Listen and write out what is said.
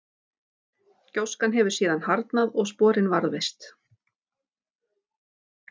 gjóskan hefur síðan harðnað og sporin varðveist